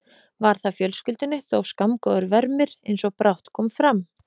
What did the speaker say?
Var það fjölskyldunni þó skammgóður vermir, eins og brátt kom fram.